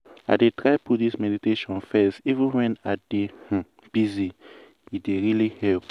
i dey try put this meditation first even when i dey um busy- e dey really help.